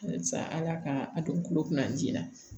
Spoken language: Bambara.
Halisa ala ka a don kulo kɔnɔ an ji la